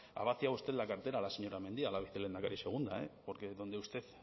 ha vaciado usted la cartera a la señora mendia la vicelehendakari segunda eh porque